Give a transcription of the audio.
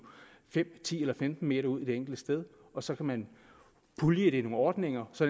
fem ti eller femten m ud det enkelte sted og så kan man pulje det i nogle ordninger så